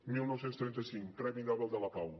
dinou trenta cinc premi nobel de la pau